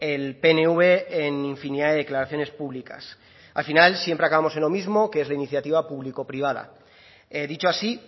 el pnv en infinidad de declaraciones públicas al final siempre acabamos en lo mismo que es la iniciativa público privada dicho así